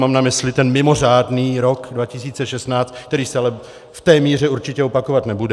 Mám na mysli ten mimořádný rok 2016, který se ale v té míře určitě opakovat nebude.